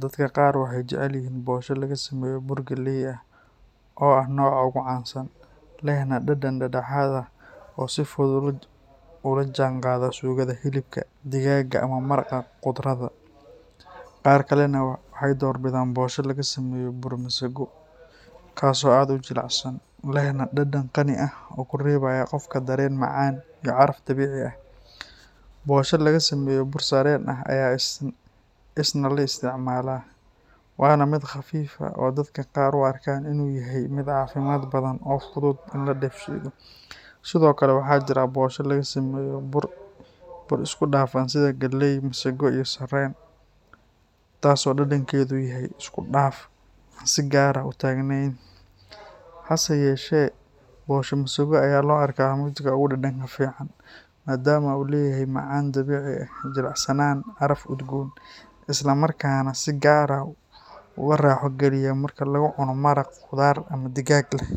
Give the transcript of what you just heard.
Dadka qaar waxay jecel yihiin bosho laga sameeyo bur galley ah oo ah nooca ugu caansan, lehna dhadhan dhexdhexaad ah oo si fudud ula jaanqaada suugada hilibka, digaagga ama maraqa khudradda. Qaar kalena waxay door bidaan bosho laga sameeyo bur masago, kaas oo aad u jilicsan, lehna dhadhan qani ah oo ku reebaya qofka dareen macaan iyo caraf dabiici ah. Bosho laga sameeyo bur sarreen ah ayaa isna la isticmaalaa, waana mid khafiif ah oo dadka qaar u arkaan inuu yahay mid caafimaad badan oo fudud in la dheefshiido. Sidoo kale, waxaa jira bosho laga sameeyo bur isku dhafan sida galley, masago iyo sarreen, taas oo dhadhankeeda uu yahay isku dhaf aan si gaar ah u taagneyn. Hase yeeshee, bosho masago ayaa loo arkaa midka ugu dhadhanka fiican, maadaama uu leeyahay macaan dabiici ah, jilicsanaan, caraf udgoon, isla markaana si gaar ah u raaxo geliya marka lagu cuno maraq khudaar ama digaag leh.